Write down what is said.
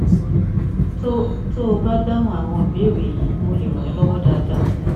tó tó o bá dáhùn àwọn ìbéèrè yìí mo lè ràn é lọwọ dáadáa